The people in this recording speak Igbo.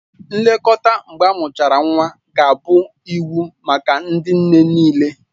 Nlekọta mgbe amụchara nwa ga-abụ iwu maka ndị nne nịịle